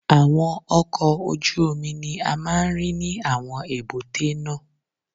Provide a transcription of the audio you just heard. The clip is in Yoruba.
Àwọn ọkọ̀ ojú omi ni a máa ń rí ní àwọn èbúté náà.